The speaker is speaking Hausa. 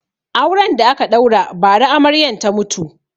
Auren da aka ɗaura ba ra Amaryan ta mutu